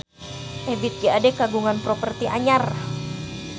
Ebith G. Ade kagungan properti anyar